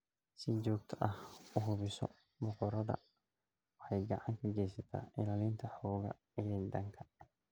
Si joogto ah u hubiso boqoradda waxay gacan ka geysataa ilaalinta xoogga xiidanka.